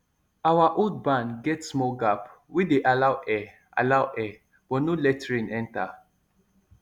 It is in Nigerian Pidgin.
our old barn get small gap wey dey allow air allow air but no let rain enter